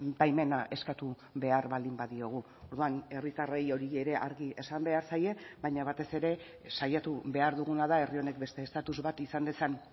baimena eskatu behar baldin badiogu orduan herritarrei hori ere argi esan behar zaie baina batez ere saiatu behar duguna da herri honek beste estatus bat izan dezan